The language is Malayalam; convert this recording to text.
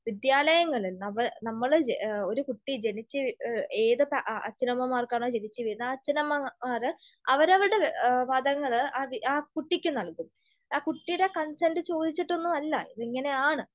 വിദ്യാലയങ്ങൾ, നവ, നമ്മൾ ഒരു കുട്ടി ജനിച്ച് ഏതൊക്കെ അച്ഛനമ്മമാർക്കാണ് ജനിച്ച് വീഴുന്നെ, ആ അച്ഛനമ്മമാർ അവരവരുടെ മതങ്ങൾ ആ കുട്ടിക്ക് നൽകും. അത് ആ കുട്ടീടെ കൺസെൻറ് ചോദിച്ചിട്ടൊന്നും അല്ല. ഇതങ്ങനെയാണ്.